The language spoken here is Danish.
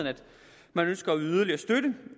man ønsker at yde yderligere støtte